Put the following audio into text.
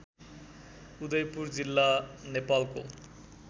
उदयपुर जिल्ला नेपालको